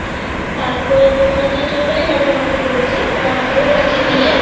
তারপরে তোমার যে চৈতালি madam এর কথা বলছি অ্যাঁ ওর কাছে গিয়ে